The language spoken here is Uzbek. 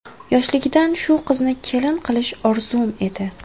Yoshligidan shu qizni kelin qilish orzum edi.